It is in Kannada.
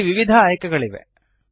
ಇಲ್ಲಿ ವಿವಿಧ ಆಯ್ಕೆಗಳಿವೆ